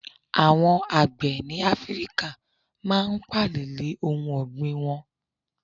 Àwon àgbẹ̀ ní Áfíríkà máa n pààlè lè ohun ọ̀gbìn won